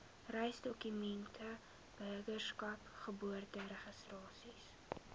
reisdokumente burgerskap geboorteregistrasie